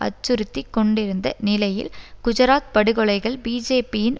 அச்சுறுத்திக் கொண்டிருந்த நிலையில் குஜராத் படுகொலைகள் பிஜேபியின்